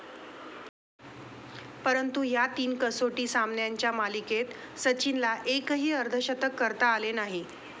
परंतु ह्या तीन कसोटी सामान्यांच्या मालिकेत सचिनला एकही अर्धशतक करता आले नाही.